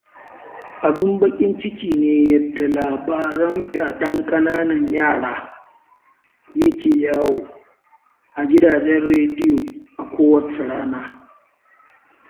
Abin bakin ciki ne yadda labaran fyaɗen ƙananan yara ya ke yawo a gidajen rediyo a kowace rana.